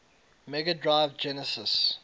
mega drive genesis